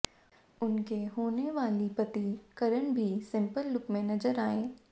उनके होने वाली पति करण भी सिंपल लुक में नजर आएं